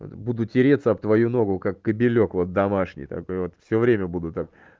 буду тереться об твою ногу как кобелёк вот домашний так вот все время буду там